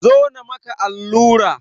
Zo na maka allura!